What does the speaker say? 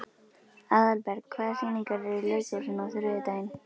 Aðalberg, hvaða sýningar eru í leikhúsinu á þriðjudaginn?